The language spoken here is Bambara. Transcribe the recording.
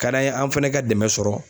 Ka d'an ye an fɛnɛ ka dɛmɛ sɔrɔ